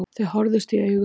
Þau horfðust í augu.